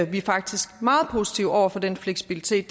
vi er faktisk meget positive over for den fleksibilitet